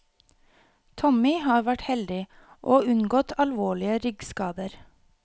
Tommy har vært heldig, og unngått alvorlige ryggskader.